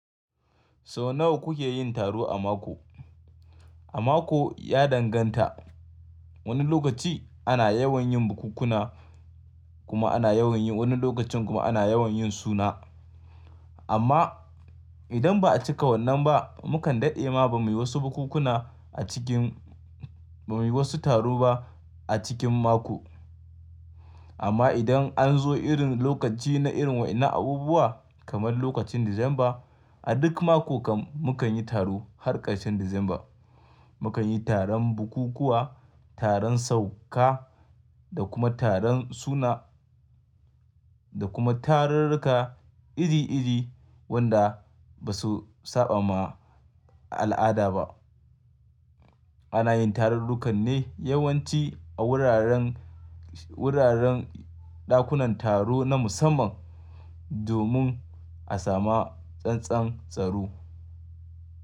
Sau nawa kuke yin taro a mako? A mako ya danganta. Wani lokaci ana yawan yin bukunkuna kuma ana yawan yi, wani lokacin kuma ana yawan yin suna. Amma idan ba a cika wannan ba, mukan daɗe ma ba muyi wasu bukunkuna a cikin, ba muyi wasu taro ba a cikin mako. Amma idan an zo irin lokaci na irin waɗanne abubuwa kamar lokacin December, a duk mako kan mukan yi taro har ƙarshen December. Mukan yi taron bukukuwa, taron sauka da kuma taron suna da kuma tarurruka iri iri wanda ba su saba ma a al'ada ba. Ana yin tarurrukan ne yawanci a wuraren, wuraren ɗakunan taro na musamman domin a sama tsantsan tsaro.